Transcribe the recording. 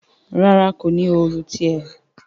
ràrá ko ní Òòlù tiè.